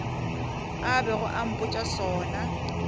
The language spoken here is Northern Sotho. a bego a mpotša sona